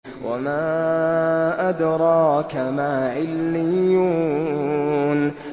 وَمَا أَدْرَاكَ مَا عِلِّيُّونَ